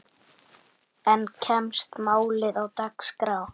En kemst málið á dagskrá?